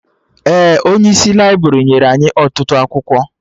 Ee, Onyeisi laibrị nyere anyị ọtụtụ akwụkwọ